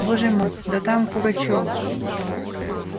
боже мой да там пугачёв